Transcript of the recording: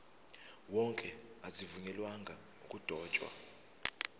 wonke azivunyelwanga ukudotshwa